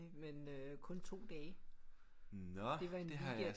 Men øh kun 2 dage det var en weekend